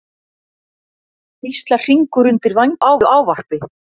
hvíslar Hringur undir vængjuðu ávarpi.